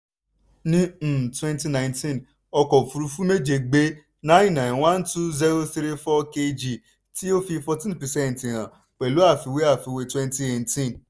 ní um twenty nineteen ọkọ̀ òfúrufú méje gbé nine nine one two zero three four kg tí ó fi fourteen percent hàn pẹ̀lú àfiwé àfiwé twenty nineteen.